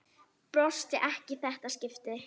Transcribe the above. Brosti ekki í þetta skipti.